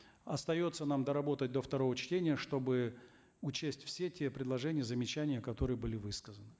остается нам доработать до второго чтения чтобы учесть все те предложения и замечания которые были высказаны